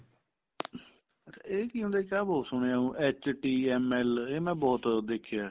ਇਹ ਕੀ ਹੁੰਦਾ ਜੀ ਆਹ ਬਹੁਤ ਸੁਣਿਆ HTML ਇਹ ਮੈਂ ਬਹੁਤ ਦੇਖਿਆ